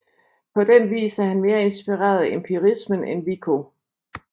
På den vis er han mere inspireret af empirismen end Vico